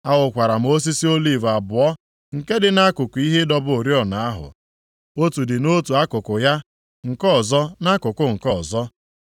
Ahụkwara m osisi oliv abụọ nke dị nʼakụkụ ihe ịdọba oriọna ahụ. Otu dị nʼotu akụkụ ya, nke ọzọ, nʼakụkụ nke ọzọ.”